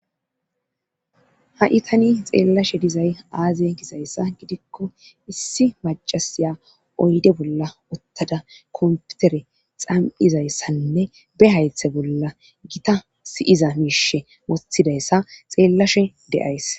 Ha7itani xeellashe dizay aaze gizayssa gidikko issi macasiya oyde bolla ottada komputere xam7izayssanne be haythe bolla gita siyiza miishe wothidayssa xeellashe de'ays.